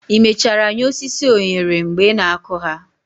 i mechara nye osisi onyere mgbe ị na-akụ ha?